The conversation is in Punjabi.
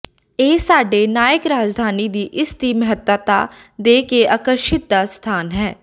ਇਹ ਸਾਡੇ ਨਾਇਕ ਰਾਜਧਾਨੀ ਦੀ ਇਸ ਦੀ ਮਹੱਤਤਾ ਦੇ ਕੇ ਆਕਰਸ਼ਿਤ ਦਾ ਸਥਾਨ ਹੈ